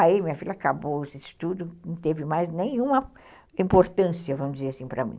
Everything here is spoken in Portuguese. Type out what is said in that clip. Aí minha filha acabou os estudos, não teve mais nenhuma importância, vamos dizer assim, para mim.